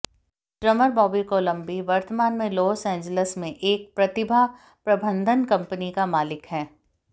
drummer Bobby Colombi वर्तमान में Los Angeles में एक प्रतिभा प्रबंधन कंपनी का मालिक है